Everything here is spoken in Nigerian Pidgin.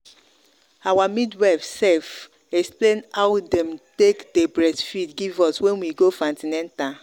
our midwife sef explain how them take day breastfeed give us when we go for an ten atal